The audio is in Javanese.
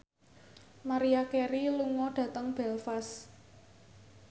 Maria Carey lunga dhateng Belfast